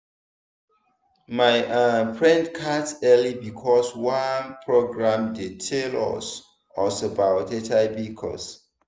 my um friend catch early because of one program wey tell us us about hiv cause.